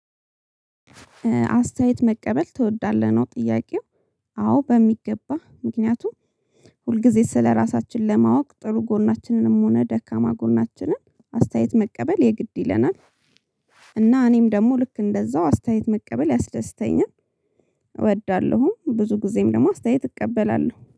አስተያየት መቀበል ትወዳለህ ነው ጥያቄው አዎ በሚገባ ምክንያቱም ሁልጊዜ ስለራሳችን ለማወቅ ጥሩ ጎናችንንም ሆነ ደካማ ጎናችንን አስተያየት መቀበል የግድ ይለናል። እና እኔም ደግሞ ልክ እንደዛው አስተያየት መቀበል ያስደስተኛል። እወዳለሁ ብዙ ጊዜም ደግሞ አስተያየት እቀበላለሁ